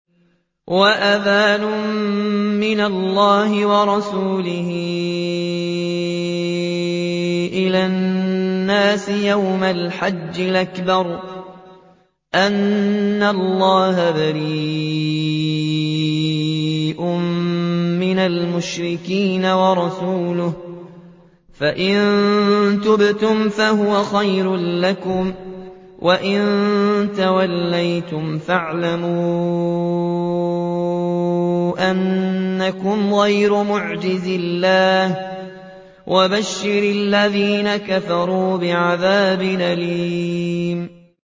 وَأَذَانٌ مِّنَ اللَّهِ وَرَسُولِهِ إِلَى النَّاسِ يَوْمَ الْحَجِّ الْأَكْبَرِ أَنَّ اللَّهَ بَرِيءٌ مِّنَ الْمُشْرِكِينَ ۙ وَرَسُولُهُ ۚ فَإِن تُبْتُمْ فَهُوَ خَيْرٌ لَّكُمْ ۖ وَإِن تَوَلَّيْتُمْ فَاعْلَمُوا أَنَّكُمْ غَيْرُ مُعْجِزِي اللَّهِ ۗ وَبَشِّرِ الَّذِينَ كَفَرُوا بِعَذَابٍ أَلِيمٍ